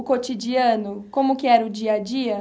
O cotidiano, como que era o dia a dia?